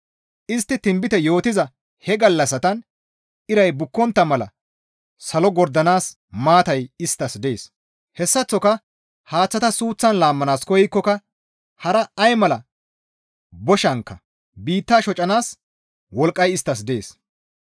Istti tinbite yootiza he gallassatan iray bukkontta mala salo gordanaas maatay isttas dees. Hessaththoka haaththata suuththan laammanaas koykkoka hara ay mala boshankka biitta shocanaas wolqqay isttas dees.